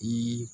I